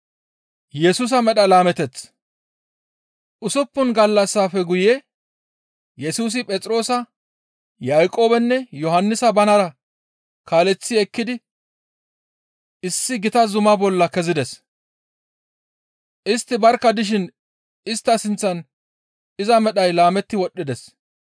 Usuppun gallassafe guye Yesusi Phexroosa, Yaaqoobenne Yohannisa banara kaaleththi ekkidi issi gita zuma bolla kezides. Istti barkka dishin istta sinththan iza medhay laametti wodhdhides.